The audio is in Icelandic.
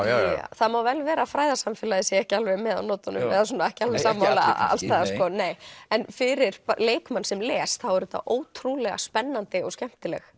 það má vel vera að fræðasamfélagið sé ekki alveg með á nótunum eða ekki alveg sammála alls staðar en fyrir leikmann sem les þá er þetta ótrúlega spennandi og skemmtileg